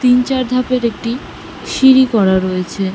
তিন চার ধাপের একটি সিঁড়ি করা রয়েছে।